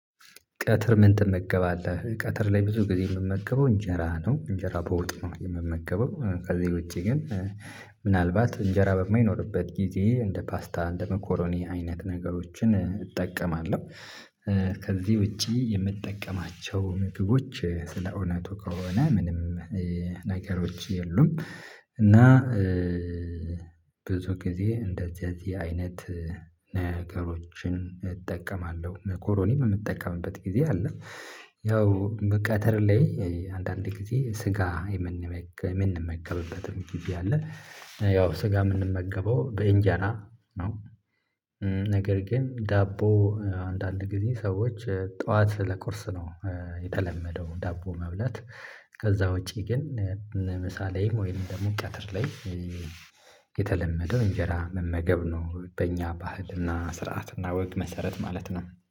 ቀትር ምን ትመገባለህ ቀትር ላይ ብዙ ጊዜ የምመገበው እንጀራ ነው? እንጀራ በወጥ ነው የምመገበው። ከዚህ ውጭ ግን ምናልባት እንጀራ በማይኖርበት ጊዜ እንደ ፓስታ እንደ መኮረኒ አይነት ነገሮችን እጠቀማለሁ። ከዚህ ውጪ የምጠቀማቸው ምግቦች እንደ አውነቱ ከሆነ ምንም ነገሮች የሉም። እና ብዙ ጊዜ እንደዚህ አይነት ነገሮችን እጠቀማለሁ መኮሮኒ ምጠቀምበት ጊዜ አለ። ያው ቀትር ላይ አንዳንዴ ጊዜ ስጋ የምንመገብበትም ጊዜ አለ ያው ስጋ የምንመገበው በእጀራ ነው። ነገር ግን ዳቦ አንዳንድ ጊዜ ሰዎች ጠዋት ለቁርስ ነው የተለመደው ዳቦ መብላት። ከዛ ውጭ ግን ምሳ ላይ ወይም ደግሞ ቀትር ላይ የተለመደው እንጀራ መመገብ ነው። በእኛ ባህልና ስርዓትና ወግ መሰረት ማለት ነው